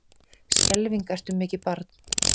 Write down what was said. Skelfing ertu mikið barn.